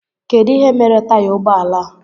Kedụ ihe mere taya ụgbọala a?